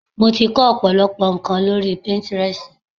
Mo ti kó ọ̀pọ̀lọpọ̀ ńko lórí Pinterest.